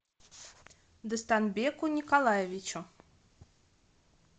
достонбеку николаевичу